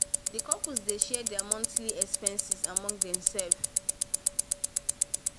the couple dey share there monthly expenses among themselves among themselves